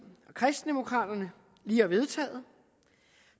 og kristendemokraterne lige har vedtaget